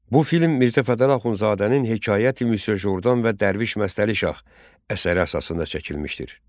Bu film Mirzə Fətəli Axundzadənin Hekayət-i Müsyo Jordan və Dərviş Məstəli Şah əsəri əsasında çəkilmişdir.